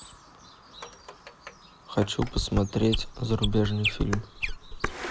хочу посмотреть зарубежный фильм